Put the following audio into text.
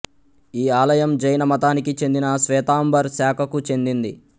ఈ ఆలయం జైన మతానికి చెందిన శ్వేతాంబర్ శాఖకు చెందింది